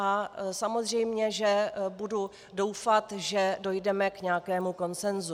A samozřejmě, že budu doufat, že dojdeme k nějakému konsensu."